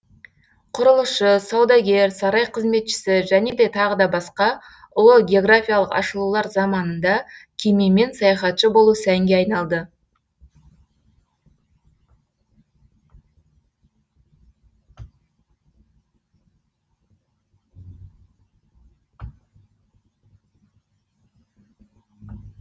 құрылысшы саудагер сарай қызметшісі және т б ұлы географиялық ашылулар заманында кемемен саяхатшы болу сәнге айналды